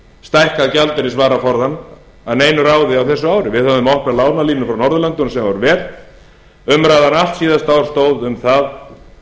stækkað gjaldeyrisvaraforðann að neinu ráði á þessu ári við höfðum opnað lánalínur frá norðurlöndunum sem var vel umræðan allt síðasta ár stóð um það